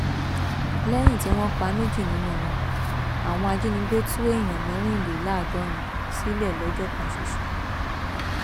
lẹyìn tí wọn pa méjì nínú wọn àwọn ajínigbé tú èèyàn mẹrìnléláàádọrin sílẹ lọjọ kan ṣoṣo